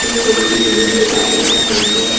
এই ছবিটি দিনের বেলা তুলা হয়েছে।